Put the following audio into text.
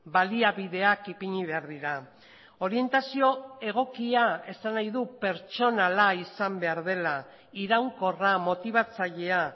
baliabideak ipini behar dira orientazio egokia esan nahi du pertsonala izan behar dela iraunkorra motibatzailea